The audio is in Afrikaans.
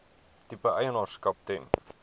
tipe eienaarskap ten